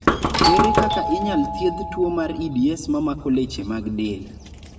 ere kaka inyal thiedhi tuo mar EDS mamako leche mag del